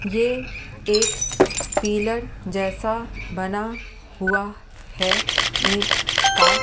ये एक पीलर जैसा बना हुआ है ईंट का--